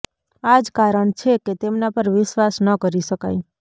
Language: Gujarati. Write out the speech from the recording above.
આ જ કારણ છે કે તેમના પર વિશ્વાસ ન કરી શકાય